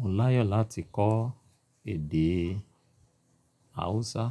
Mo láyò láti kọ́ èdè Hausa.